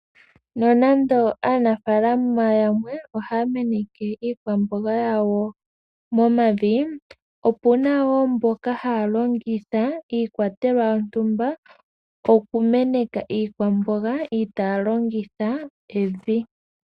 Nonando aanafalama yamwe haya meneke iikwamboga yawo momavi, opuna woo mboka haalongitha iikwatelwa yontumba okumeneka iikwamboga iitaalongitha Evi.